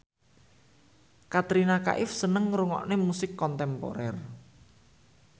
Katrina Kaif seneng ngrungokne musik kontemporer